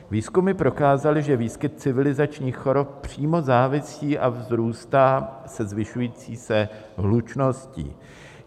Výzkumy prokázaly, že výskyt civilizačních chorob přímo závisí a vzrůstá se zvyšující se hlučností.